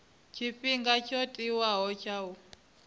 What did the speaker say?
tshifhinga tsho tiwaho tsha u